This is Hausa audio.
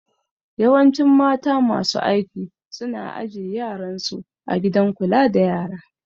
Yawancin mata masu aiki su na aje yaran su a gidan kula da yara